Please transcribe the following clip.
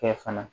Kɛ fana